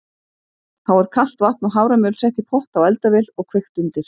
Þá er kalt vatn og haframjöl sett í pott á eldavél og kveikt undir.